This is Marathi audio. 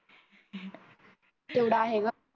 तेवढ आहे गं.